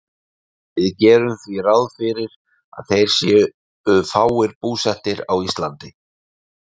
Við gerum því ráð fyrir að þeir séu fáir búsettir á Íslandi.